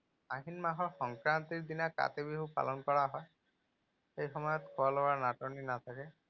আহিন মাহৰ সংক্ৰান্তিৰ দিনা কাতি বিহু পালন কৰা হয়। সেই সময়ত খোৱা লোৱাৰ নাটনি থাকে।